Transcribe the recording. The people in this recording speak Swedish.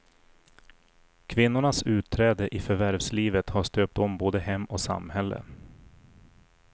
Kvinnornas utträde i förvärvslivet har stöpt om både hem och samhälle.